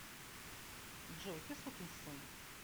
джой ты сукин сын